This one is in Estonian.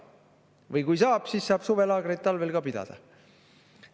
Või kui saab, siis saab ka suvelaagrit talvel pidada.